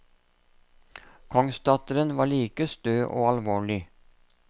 Kongsdatteren var like stø og alvorlig.